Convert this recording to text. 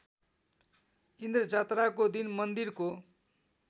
इन्द्रजात्राको दिन मन्दिरको